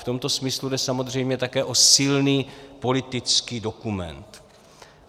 V tomto smyslu jde samozřejmě také o silný politický dokument.